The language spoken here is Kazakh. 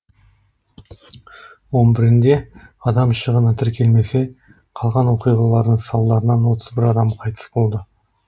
он бірінде адам шығыны тіркелмесе қалған оқиғалардың салдарынан отыз бір адам қайтыс болды